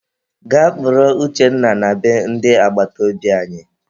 Gaa kpọrọ Uchenna na be ndị agbataobi anyị!